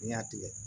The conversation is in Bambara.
N'i y'a tigɛ